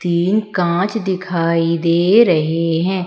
तीन कांच दिखाई दे रहे हैं।